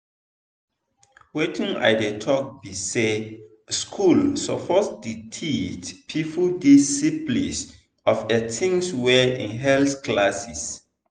wetin i dey talk be say school suppose the teache people this syphilis of a thing well in health classes